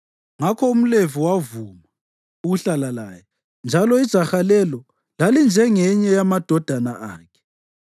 Ngakho umLevi wavuma ukuhlala laye, njalo ijaha lelo lalinjengenye yamadodana akhe.